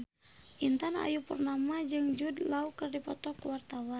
Intan Ayu Purnama jeung Jude Law keur dipoto ku wartawan